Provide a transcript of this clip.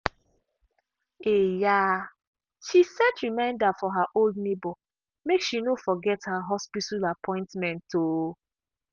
um she set reminder for her old neighbor make she no forget her hospital appointment. um